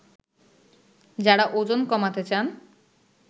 যারা ওজন কমাতে চান